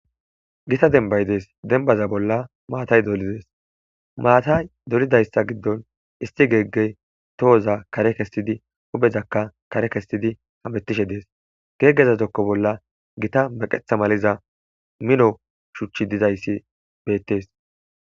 Gita dembay dees denbaza bolla maatay dolidees maatay dolidayssa giddon isti geeggey tohoza kare kessidi obezakka kare kessidi hametishe dees geeggezazokko bolla gita meqetha maliza mino shuchchi dizayssi beettees